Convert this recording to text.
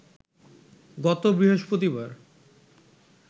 গত বৃহস্পতিবার